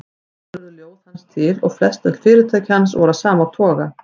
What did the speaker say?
Þannig urðu ljóð hans til og flestöll fyrirtæki hans voru af sama toga.